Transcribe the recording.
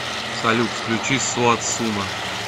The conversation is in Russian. салют включи суат суна